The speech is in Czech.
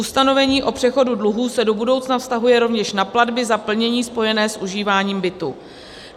Ustanovení o přechodu dluhů se do budoucna vztahuje rovněž na platby za plnění spojené s užíváním bytu.